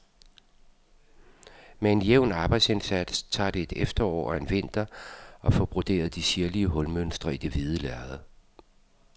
Med en jævn arbejdsindsats tager det et efterår og en vinter at få broderet de sirlige hulmønstre i det hvide lærred.